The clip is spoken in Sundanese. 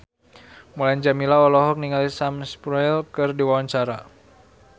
Mulan Jameela olohok ningali Sam Spruell keur diwawancara